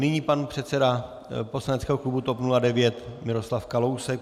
Nyní pan předseda poslaneckého klubu TOP 09 Miroslav Kalousek.